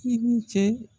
I ni ce